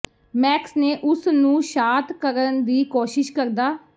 Max ਨੇ ਉਸ ਨੂੰ ਸ਼ਾਤ ਕਰਨ ਦੀ ਕੋਸ਼ਿਸ਼ ਕਰਦਾ